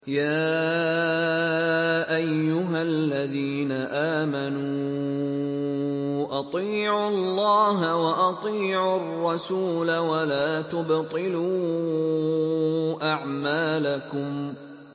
۞ يَا أَيُّهَا الَّذِينَ آمَنُوا أَطِيعُوا اللَّهَ وَأَطِيعُوا الرَّسُولَ وَلَا تُبْطِلُوا أَعْمَالَكُمْ